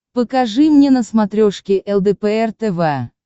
покажи мне на смотрешке лдпр тв